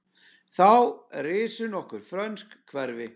Þá risu nokkur frönsk hverfi.